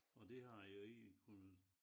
Og det har jo ikke kunne